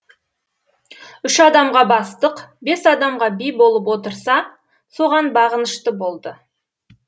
үш адамға бастық бес адамға би болып отырса соған бағынышты болды